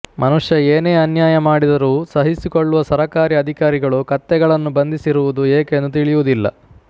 ಮನುಷ್ಯ ಏನೇ ಅನ್ಯಾಯ ಮಾಡಿದರೂ ಸಹಿಸಿಕೊಳ್ಳುವ ಸರಕಾರಿ ಅಧಿಕಾರಿಗಳು ಕತ್ತೆಗಳನ್ನು ಬಂದಿಸಿರುವುದು ಏಕೆಂದು ತಿಳಿಯುವುದಿಲ್ಲ